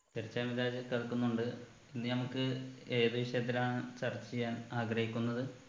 yes എ മിദ്‌ലാജെ കേൾക്കുന്നുണ്ട് ഇന്ന് നമുക്ക് ഏത് വിഷയത്തിലാണ് ചർച്ച ചെയ്യാൻ ആഗ്രഹിക്കുന്നത്